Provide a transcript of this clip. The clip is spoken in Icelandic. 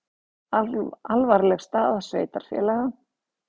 Alvarleg staða sveitarfélaga